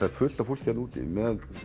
er fullt af fólki þarna úti með